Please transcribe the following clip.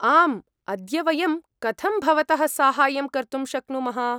आम्, अद्य वयं कथं भवतः साहाय्यं कर्तुं शक्नुमः?